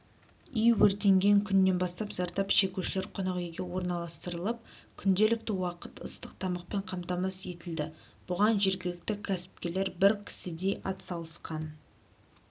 үй өртенген күннен бастап зардап шегушілер қонақүйге орналастырылып күнделікті уақыт ыстық тамақпен қамтамасыз етілді бұған жергілікті кәсіпкерлер бір кісідей атсалысқан